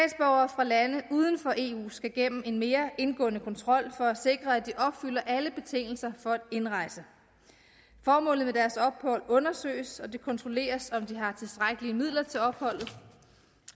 fra lande uden for eu skal gennem en mere indgående kontrol for at sikre at de opfylder alle betingelser for at indrejse formålet med deres ophold undersøges og det kontrolleres om de har tilstrækkelige midler til opholdet